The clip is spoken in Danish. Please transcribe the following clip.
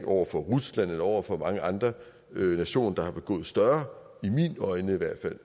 over for rusland eller over for mange andre nationer der har begået større i mine øjne i hvert